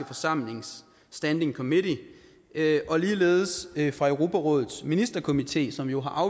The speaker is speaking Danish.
forsamlings standing committee og ligeledes fra europarådets ministerkomité som jo har